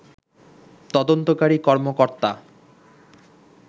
তদন্তকারী কর্মকর্তা